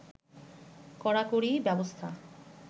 কড়াকড়ি ব্যবস্থা